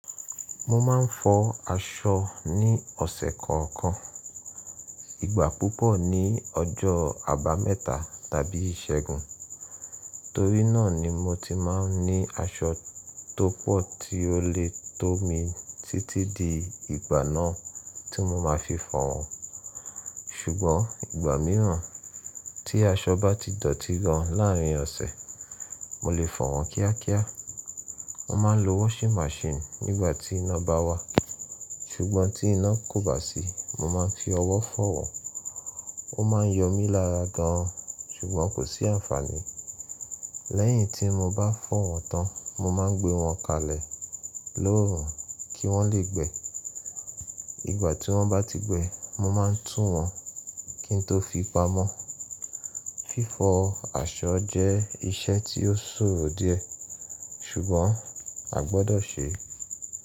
Mo máa ń fọ aṣọ ní ọ̀sẹ̀ kọ̀ọ̀kan, ìgbà púpọ̀ ní ọjọ́ Àbámẹ́ta tàbí Ìṣẹ́gun. Torí náà ni mo ti máa ń ní aṣọ tó pọ̀ tí ó lè tó mi títí di ìgbà náà tí mo máa fi fọ̀ wọ́n. Ṣùgbọ́n ìgbà mìíràn tí aṣọ bá ti dọ̀tí gan láàárin ọ̀sẹ̀, mo lè fọ̀ wọ́n kíákíá. Mo máa ń lo washing machine nígbà tí iná bá wà, ṣùgbọ́n tí iná kò bá sí, mo máa ń fi ọwọ́ fọ̀ wọ́n. Ó máa ń yọ mí lára gan, ṣùgbọ́n kò sí àǹfàní. Lẹ́yìn tí mo bá fọ́ wọ́n tán, mo máa ń gbé wọ́n kalẹ̀ lóòórùn kí wọ́n lè gbẹ. Ìgbà tí wọ́n bá ti gbẹ, mo máa tú wọ́n kí n tó fi pamọ́. Fífọ àṣọ jẹ́ iṣẹ́ tí ó ṣòrò díẹ̀, ṣùgbọ́n à gbọdọ̀ ṣe é.